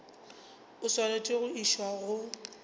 o swanetše go išwa go